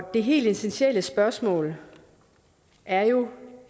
det helt essentielle spørgsmål er jo